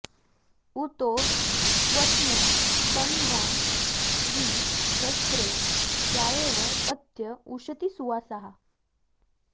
उतो त्वस्मै तन्वं वि सस्रे जायेव पत्य उशती सुवासाः